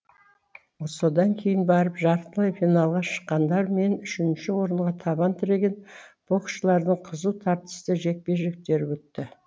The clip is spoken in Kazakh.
содан кейін барып жартылай финалға шыққандар мен үшінші орынға табан тіреген боксшылардың қызу тартысты жекпе жектері өтті